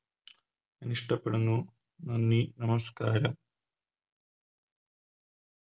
ഇഷ്ട്ടപ്പെടുന്നു നന്ദി നമസ്ക്കാരം